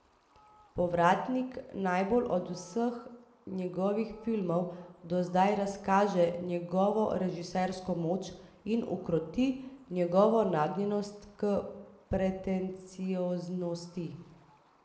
Povratnik najbolj od vseh njegovih filmov do zdaj razkaže njegovo režisersko moč in ukroti njegovo nagnjenost k pretencioznosti.